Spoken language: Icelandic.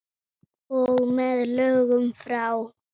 Og með lögum frá